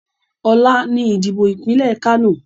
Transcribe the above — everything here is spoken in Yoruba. Ọ̀la ni ìdìbò ìpínlẹ̀ Kánò